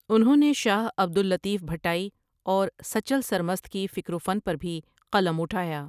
انہوں نے شاہ عبد اللطیف بھٹائی اور سچل سرمست کی فکر و فن پر بھی قلم اٹھایا ۔